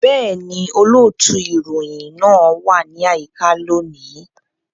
Bẹ́ẹ̀ni, olóòtú ìròyìn náà wà ní àyíká lónìí